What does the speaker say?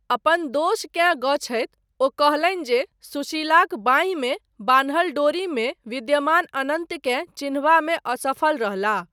अपन दोषकेँ गछैत ओ कहलनि जे सुशीलाक बाँहिमे बान्हल डोरीमे विद्यमान अनन्तकेँ चिन्हबामे असफल रहलाह।